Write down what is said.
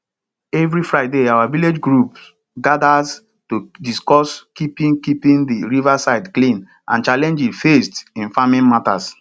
every friday our village group gathers to discuss keeping keeping the riverside clean and challenges faced in farming matters